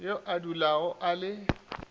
yo a dulago a le